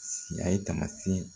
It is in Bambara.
Siya ye taamasiyɛn